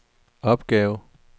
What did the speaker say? opgave